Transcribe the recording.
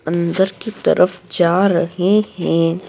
अंदर की तरफ जा रहे हैं।